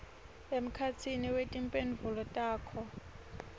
emkhatsini wetimphendvulo takho